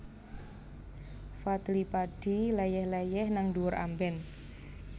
Fadly Padi leyeh leyeh nang dhuwur amben